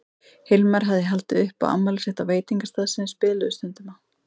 Hilmar hafði haldið upp á afmælið sitt á veitingastað sem þeir spiluðu stundum á.